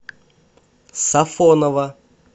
сафоново